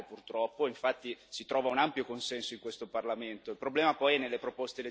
La relazione non è vincolante, purtroppo, infatti si trova un ampio consenso in questo Parlamento.